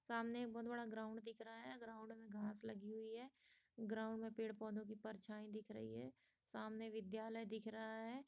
सामने एक बहुत बड़ा ग्राउन्ड दिख रहा है ग्राउन्ड में घास लगी हुई है ग्राउन्ड में पेड़ पौधे की परछाई दिख रही है सामने विद्यालय दिख रहा है।